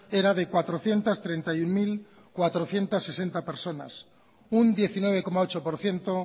era de cuatrocientos treinta y uno mil cuatrocientos sesenta personas un diecinueve coma ocho por ciento